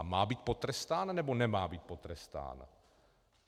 A má být potrestán, nebo nemá být potrestán?